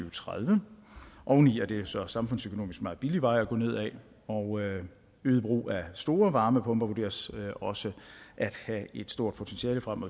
og tredive oveni er det så samfundsøkonomisk en meget billig vej at gå ned af og øget brug af store varmepumper vurderes også at have et stort potentiale frem